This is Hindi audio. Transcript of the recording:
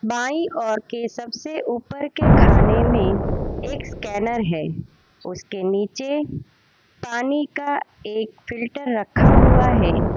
बाईं ओर के सबसे ऊपर के खाने में एक स्कैनर है उसके नीचे पानी का एक फ़िल्टर रखा हुआ है।